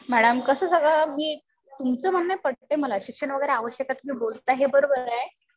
Madam कस सगळं अगदी तुमचं म्हणणं पटतंय मला. शिक्षण वगैरे आवश्यक आहे हे तुम्ही बोलताय हे बरोबर आहे.